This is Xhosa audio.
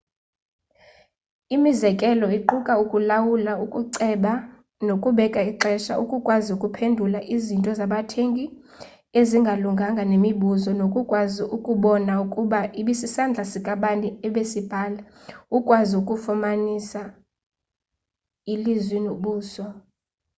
imizekelo iquka ukulawula ukuceba nokubeka ixesha ukukwazi ukuphendula izinto zabathengi ezingalunganga nemibuzo nokukwazi ukubona ukuba ibisisandla sikabani ebesibhala ukwazi ukufanisa ilizwi nobuso